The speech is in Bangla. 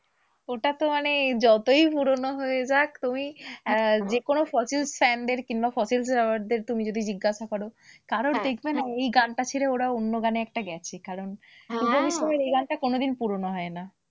ওটা তো মানে যতই পুরোনো হয়ে যাক তুমি আহ যেকোনো ফসিলশ fan দের কিংবা ফসিলশ lover দের তুমি যদি জিজ্ঞাসা করো কারোর দেখবে না এই গানটা ছেড়ে ওরা অন্য গানে একটা গেছে। কারণ এই গানটা কোনদিন পুরোনো হয়না।